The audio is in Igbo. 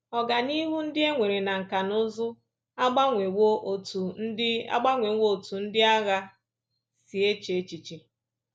Ọganihu ndị e nwere na nkà na ụzụ agbanwewo otú ndị agbanwewo otú ndị agha si eche echiche